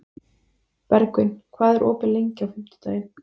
Bergvin, hvað er opið lengi á fimmtudaginn?